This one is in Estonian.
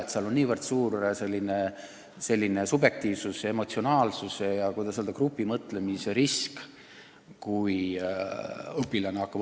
Kui õpilane hakkab õpetajat hindama, siis on väga suur subjektiivsuse ja emotsionaalsuse, samuti, kuidas öelda, grupimõtlemise risk.